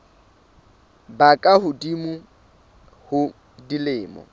ba ka hodimo ho dilemo